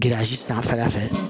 sanfɛla fɛ